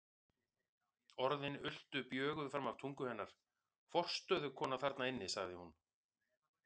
Orðin ultu bjöguð fram af tungu hennar: Forstöðukona þarna inni, sagði hún.